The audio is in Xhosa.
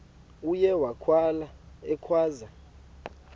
uye wakhala ekhwaza